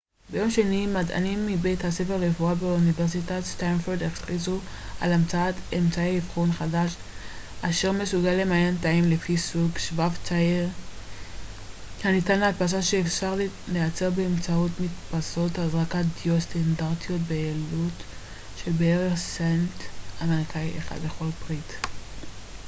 ביום שני מדענים מבית הספר לרפואה באוניברסיטת סטנפורד הכריזו על המצאת אמצעי אבחון חדש אשר מסוגל למיין תאים לפי סוג שבב זעיר הניתן להדפסה שאפשר לייצר באמצעות מדפסות הזרקת דיו סטנדרטיות בעלות של בערך סנט אמריקאי אחד לכל פריט